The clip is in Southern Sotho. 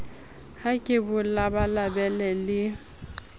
ha ke bo labalabele le